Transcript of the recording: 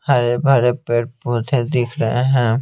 हरे भरे पेड़ पौधे दिख रहे हैं।